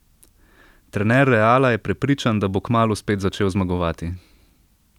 Trener Reala je prepričan, da bo kmalu spet začel zmagovati.